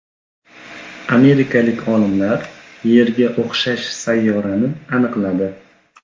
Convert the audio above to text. Amerikalik olimlar Yerga o‘xshash sayyorani aniqladi.